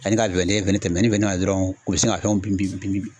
Ani ka wɛlɛ tɛmɛnni bɛ ne na dɔrɔn u bɛ sin ka fɛn bin